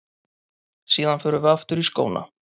Síðan förum við aftur í skóna.